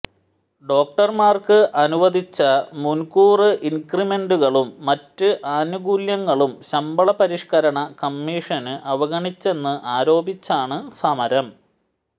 ഡോക്ടര്മാര്ക്ക് അനുവദിച്ച മുന്കൂര് ഇന്ക്രിമെന്റുകളും മറ്റ് ആനുകൂല്യങ്ങളും ശമ്പള പരിഷ്കരണ കമ്മീഷന് അവഗണിച്ചെന്ന് ആരോപിച്ചാണ് സമരം